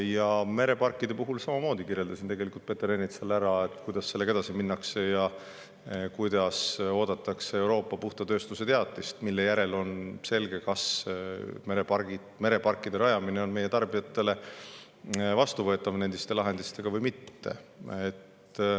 Ja mereparkide puhul samamoodi kirjeldasin tegelikult Peeter Ernitsale, kuidas sellega edasi minnakse ja et oodatakse Euroopa puhta tööstuse teatist, mille järel on selge, kas mereparkide rajamine endiste lahendustega on meie tarbijatele vastuvõetav või mitte.